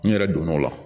N yɛrɛ donn'o la